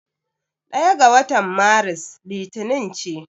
Ɗaya ga watan Maris Litinin ce.